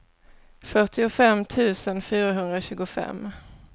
fyrtiofem tusen fyrahundratjugofem